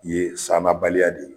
Ye sannabaliya de ye